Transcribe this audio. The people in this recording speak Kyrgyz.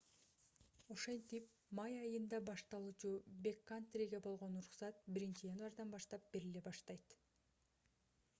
ошентип май айында башталуучу бэккантриге болгон уруксат 1-январдан баштап бериле баштайт